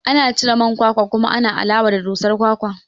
Ana cire man kwakwa kuma ana alawa da dusar kwakwan